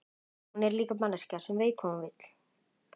Jónas Margeir Ingólfsson: Sveik ríkisstjórnin ykkur?